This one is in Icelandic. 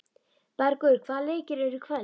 Bergur, hvaða leikir eru í kvöld?